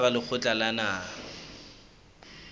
ka hara lekgotla la naha